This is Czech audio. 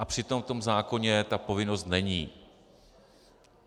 A přitom v tom zákoně ta povinnost není.